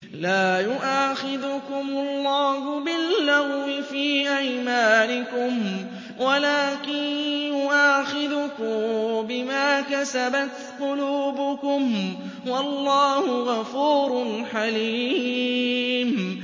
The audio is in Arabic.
لَّا يُؤَاخِذُكُمُ اللَّهُ بِاللَّغْوِ فِي أَيْمَانِكُمْ وَلَٰكِن يُؤَاخِذُكُم بِمَا كَسَبَتْ قُلُوبُكُمْ ۗ وَاللَّهُ غَفُورٌ حَلِيمٌ